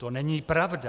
To není pravda."